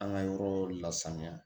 An ka yɔrɔ lasanuya